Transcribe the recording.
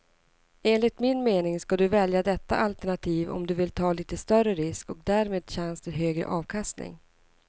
Enligt min mening ska du välja detta alternativ om du vill ta lite större risk och därmed chans till högre avkastning.